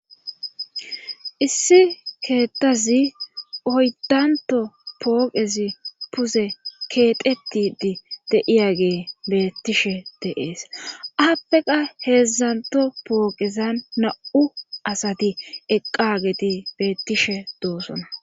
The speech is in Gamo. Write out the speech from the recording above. Issi keetazi oyddanto pooqezi puze keexettidi de7iyaage beettishe de7ees appe qa heezantto pooqezan na7u asati eqqaageti beetishe doosona.